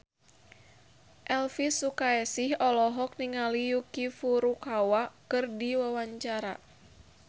Elvi Sukaesih olohok ningali Yuki Furukawa keur diwawancara